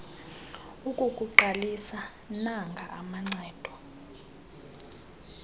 ukukuqalisa nanga amacebo